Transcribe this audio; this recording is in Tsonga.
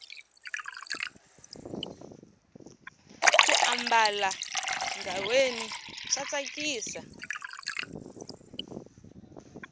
ku ambala ghaweni swa tsakisa